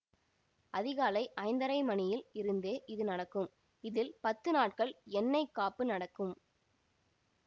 அதிகாலை ஐந்தரை மணியில் இருந்தே இது நடக்கும் இதில் பத்து நாட்கள் எண்ணெய் காப்பு நடக்கும்